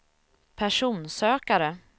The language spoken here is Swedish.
personsökare